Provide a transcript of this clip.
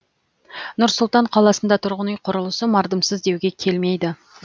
нұр сұлтан қаласында тұрғын үй құрылысы мардымсыз деуге келмейді